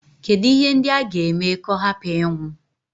Kedụ ihe ndị a ga-eme ka ọ hapụ ịnwụ?